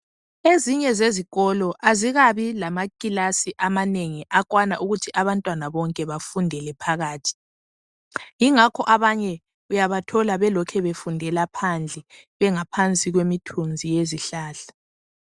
Ezinye zezikolo azikabi lamakilasi amanengi akwana ukuthi abantwana bonke bafundele phakathi. Ingakho abanye uyabathola belokhu befundela phandle bengaphansi kwemithunzi yezihlahla.